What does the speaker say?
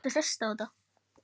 Hvað með Jóa fress?